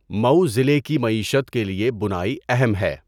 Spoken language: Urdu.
مئو ضلع کی معیشت کے لیے بُنائی اہم ہے۔